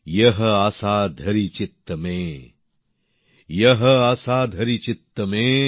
ইয়হ আসা ধরি চিত্ত মে ইয়হ আসা ধরি চিত্ত মে